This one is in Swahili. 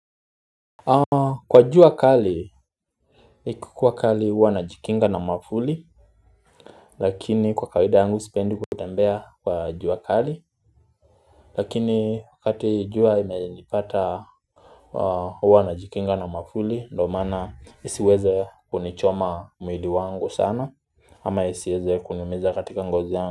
Kwa jua kali ikikuwa kali huwa na jikinga na mwavuli lakini kwa kawaida yangu sipendi kutembea kwa jua akali. Lakini wakati jua ime nipata huwa najikinga na mwavuli ndo maana isiweze kunichoma mwili wangu sana ama isiweze kuniumiza katika ngozi yangu.